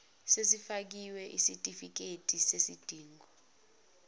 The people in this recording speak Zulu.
esifakiwe sesitifiketi sesidingo